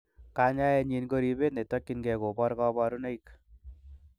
Kanyaienyin ko ribet netokyingei kobor koborunoik.